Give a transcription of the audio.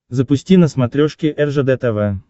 запусти на смотрешке ржд тв